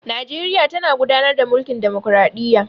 Najeriya tana gudanar da mulkin ɗamakraɗiyya.